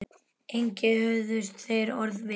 Engi höfðust þeir orð við.